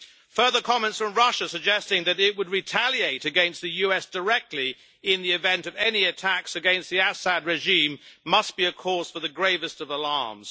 Further comments from Russia suggesting that it would retaliate against the US directly in the event of any attacks against the Assad regime must be a cause for the gravest of alarms.